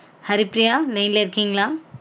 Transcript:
Haripriya line ல இருக்கீங்களா